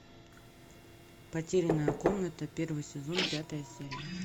потерянная комната первый сезон пятая серия